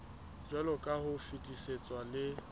jwaloka ha o fetisitswe le